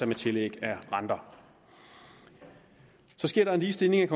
med tillæg af renter så sker der en ligestilling